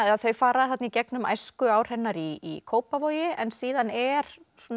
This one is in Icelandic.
þau fara í gegnum æskuár hennar í Kópavogi en síðan er